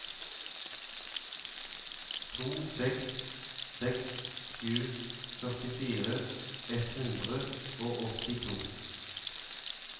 to seks seks sju førtifire ett hundre og åttito